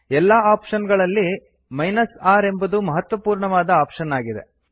ಎಲ್ಲಾ ಆಪ್ಶನ್ ಗಳಲ್ಲಿ R ಎಂಬುದು ಮಹತ್ವಪೂರ್ಣವಾದ ಆಪ್ಶನ್ ಆಗಿದೆ